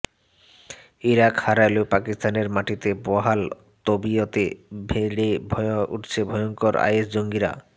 Iraq হারালেও পাকিস্তানের মাটিতে বহাল তবিয়তে বেড়ে উঠছে ভয়ঙ্কর আইএস জঙ্গিরা